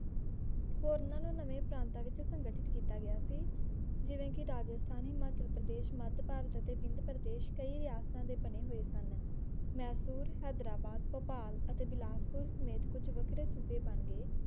ਹੋਰ ਨੇ ਨਵੇਂ ਪ੍ਰਾਂਤ ਵਿੱਚ ਸੰਗੀਠੀਤ ਕੀਤਾ ਗਿਆ ਸੀ ਜਿਵੇਂ ਕਿ ਰਾਜਸਥਾਨੀ ਹਿਮਾਚਲ ਪ੍ਰਦੇਸ਼ ਮਾਦ ਭਾਰਤ ਅਤੇ ਬਿੰਦ ਪ੍ਰਦੇਸ਼ ਕਈ ਰਿਹਾਸਤਾ ਤੇ ਬਣੇ ਹੂਏ ਸਨ ਮੈਸੂਰ ਹੈਦਰਾਬਾਦ ਭੋਪਾਲ ਅਤੇ ਵਿਲਾਸਪੁਰ ਸਮੇਤ ਕੁੱਝ ਵੱਖਰੇ ਸੂਬੇ ਬਣ ਗਏ